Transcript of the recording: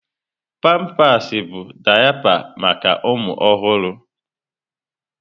Pampasị bụ daịpa maka ụmụ ọhụrụ.